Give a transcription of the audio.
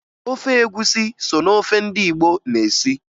Ofe egwusi so na ofe ndị Igbo na-esi